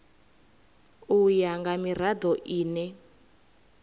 u ya nga mirado ine